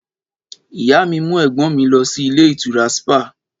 Ìyá mí mú ẹ̀gbọ́n mi lọ sí ìlé ìtura ṣípà